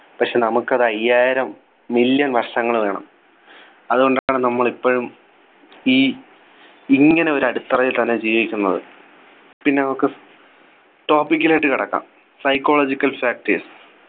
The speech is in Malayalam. പക്ഷേ നമുക്കത് അയ്യായിരം Million വർഷങ്ങൾ വേണം അതുകൊണ്ടാണ് നമ്മൾ ഇപ്പോഴും ഈ ഇങ്ങനെ ഒരു അടിത്തറയിൽ തന്നെ ജീവിക്കുന്നത് പിന്നെ നമുക്ക് Topic ലോട്ട് കടക്കാം Psychological factors